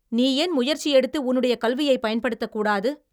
நீ ஏன் முயற்சி எடுத்து உன்னுடைய கல்வியைப் பயன்படுத்தக்கூடாது?